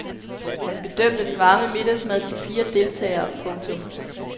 Han bedømte den varme middagsmad til fire deltagere. punktum